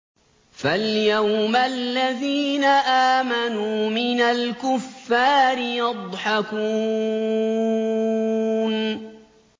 فَالْيَوْمَ الَّذِينَ آمَنُوا مِنَ الْكُفَّارِ يَضْحَكُونَ